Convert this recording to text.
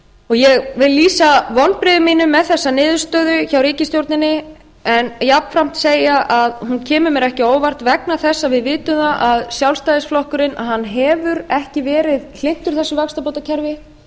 ég vil lýsa vonbrigðum mínum með þessa niðurstöðu hjá ríkisstjórninni en jafnframt segja að hún kemur mér ekki á óvart vegna þess að við vitum að sjálfstæðisflokkurinn hefur ekki verið hlynntur þessu vaxtabótakerfi